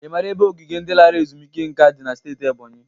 I mara ebe ogige ndị lara ezumike nka dị na steeti Ebonyi?